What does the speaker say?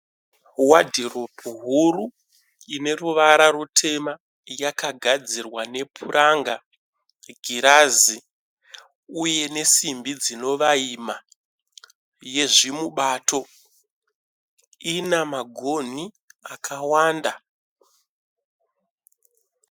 Wadhiropu huru ine ruvara rutema yakagadzirwa nepuranga, girazi uye nesimbi dzinovaima yezvimubato ina magonhi akawanda.